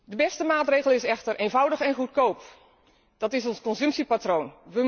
De beste maatregel is echter eenvoudig en goedkoop ons consumptiepatroon.